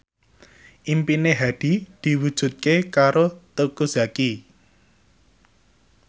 impine Hadi diwujudke karo Teuku Zacky